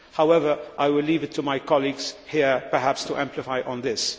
However, I will leave it to my colleagues here perhaps to amplify on this.